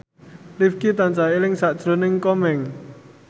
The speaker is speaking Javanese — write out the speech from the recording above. Rifqi tansah eling sakjroning Komeng